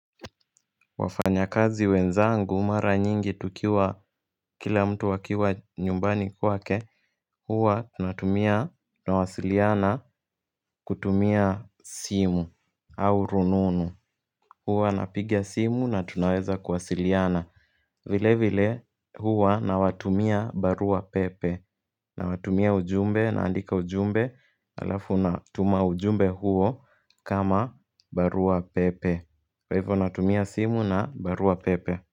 Wafanyakazi wenzangu mara nyingi tukiwa kila mtu wakiwa nyumbani kwake huwa tunatumia nawasiliana kutumia simu au rununu huwa napiga simu na tunaweza kuwasiliana vile vile huwa nawatumia barua pepe Nawatumia ujumbe naandika ujumbe Alafu natuma ujumbe huo kama barua pepe Hivyo natumia simu na barua pepe.